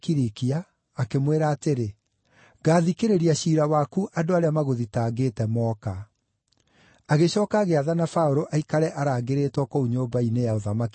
akĩmwĩra atĩrĩ, “Ngaathikĩrĩria ciira waku andũ arĩa magũthitangĩte mooka.” Agĩcooka agĩathana Paũlũ aikare arangĩrĩtwo kũu nyũmba-inĩ ya ũthamaki ya Herode.